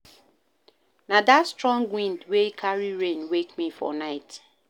Na dat strong wind wey carry rain wake me for night.